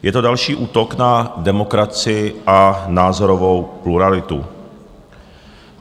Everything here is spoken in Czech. Je to další útok na demokracii a názorovou pluralitu.